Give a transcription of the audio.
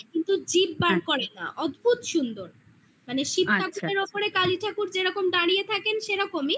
কিন্তু জিভ বার করে না অদ্ভুত সুন্দর মানে শিব ঠাকুরের ওপরে কালী ঠাকুর যেরকম দাঁড়িয়ে সেরকমই